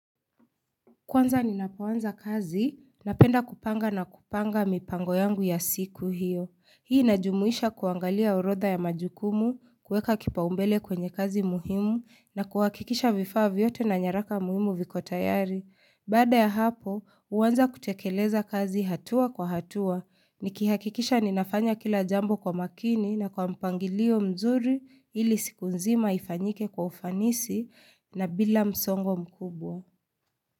Kwanza ninapoanza kazi napenda kupanga na kupanga mipango yangu ya siku hiyo. Hii najumuisha kuangalia orodha ya majukumu, kuweka kipau mbele kwenye kazi muhimu na kuwakikisha vifaa vyote na nyaraka muhimu viko tayari. Baada ya hapo, huanza kutekeleza kazi hatua kwa hatua. Nikihakikisha ninafanya kila jambo kwa makini na kwa mpangilio mzuri ili siku nzima ifanyike kwa ufanisi na bila msongo mkubwa.